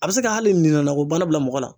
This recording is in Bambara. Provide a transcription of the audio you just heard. A bɛ se ka hali bana bila mɔgɔ la.